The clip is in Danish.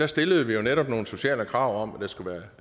stillede vi netop nogle sociale krav om at der skulle være